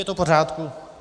Je to v pořádku.